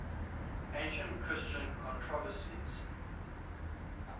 ancient christian controversies